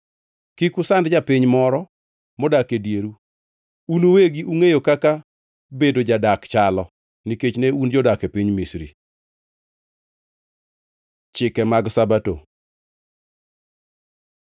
“Kik usand japiny moro modak e dieru; un uwegi ungʼeyo kaka bedo jadak chalo, nikech ne un jodak e piny Misri. Chike mag Sabato